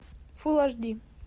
фулл аш ди